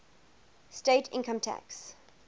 state income tax